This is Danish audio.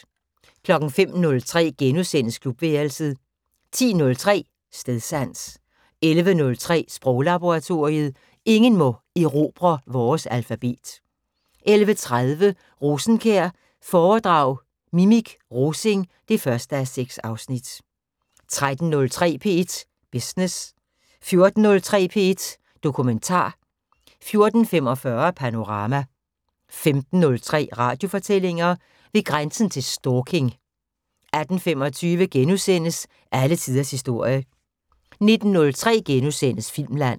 05:03: Klubværelset * 10:03: Stedsans 11:03: Sproglaboratoriet: Ingen må erobre vores alfabet 11:30: Rosenkjær foredrag Mimik Rosing 1:6 13:03: P1 Business 14:03: P1 Dokumentar 14:45: Panorama 15:03: Radiofortællinger: Ved grænsen til stalking 18:25: Alle tiders historie * 19:03: Filmland *